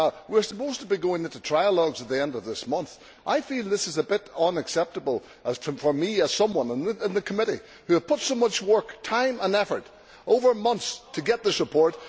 We are supposed to be going into trialogues at the end of this month, so I feel this is a bit unacceptable, for me, as someone in the committee which has put so much work, time and effort over months to get this report.